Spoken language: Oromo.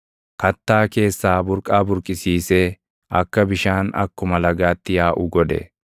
Kattaa keessaa burqaa burqisiisee akka bishaan akkuma lagaatti yaaʼu godhe.